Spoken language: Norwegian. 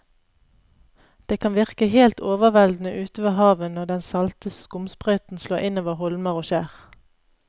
Det kan virke helt overveldende ute ved havet når den salte skumsprøyten slår innover holmer og skjær.